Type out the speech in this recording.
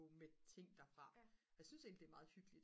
med ting derfra jeg synes egentlig det er meget hyggeligt